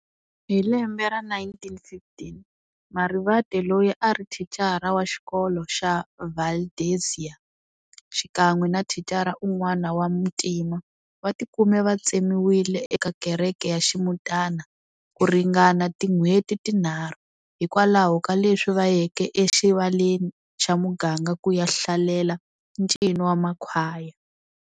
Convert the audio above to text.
Hilembe ra 1915, Marivate loyi a ari thicara wa xikolo xa Valdeziya, xikan'we na thicara un'wana wa muntima, vatikume va tsemiwile eka kereke ya ximutana, kuringana tin'wheti tinharhu, hikwalaho kaleswi vayeke exivaleni xamuganga kuya hlalelaa ncino wamakhwaya.